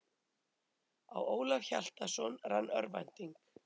Á Ólaf Hjaltason rann örvænting.